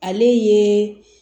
Ale ye